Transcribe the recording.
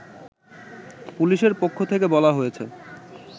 পুলিশের পক্ষ থেকে বলা হয়েছে